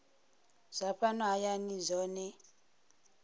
zwa fhano hayani zwohe gdp